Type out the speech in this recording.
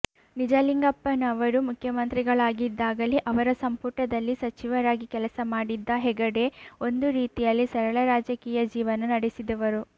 ನಿಜಲಿಂಗಪ್ಪನವರು ಮುಖ್ಯಮಂತ್ರಿಗಳಾಗಿದ್ದಾಗಲೇ ಅವರ ಸಂಪುಟದಲ್ಲಿ ಸಚಿವರಾಗಿ ಕೆಲಸ ಮಾಡಿದ್ದ ಹೆಗಡೆ ಒಂದು ರೀತಿಯಲ್ಲಿ ಸರಳ ರಾಜಕೀಯ ಜೀವನ ನಡೆಸಿದವರು